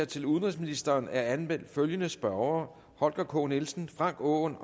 til udenrigsministeren er anmeldt følgende spørgere holger k nielsen frank aaen